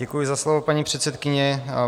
Děkuji za slovo, paní předsedkyně.